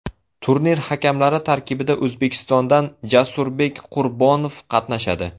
Turnir hakamlari tarkibida O‘zbekistondan Jasurbek Qurbonov qatnashadi.